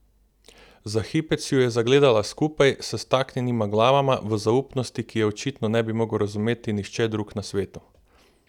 Za hipec ju je zagledala skupaj, s staknjenima glavama, v zaupnosti, ki je očitno ne bi mogel razumeti nihče drug na svetu.